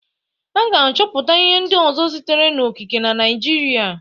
A ga-achọpụta ihe ndị ọzọ sitere n'okike na Naịjirịa.